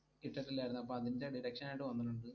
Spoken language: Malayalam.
ഇട്ടിട്ടില്ലായിരുന്നു, അപ്പോ അതിന്റെ deduction ആയിട്ട് വന്നിട്ടുണ്ട്.